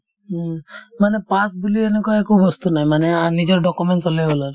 উম, মানে pass বুলি এনেকুৱা একো বস্তু নাই মানে আ নিজৰ documents হ'লে হ'ল আৰ্